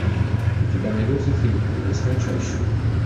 у тебя найдется фильм в лесной чаще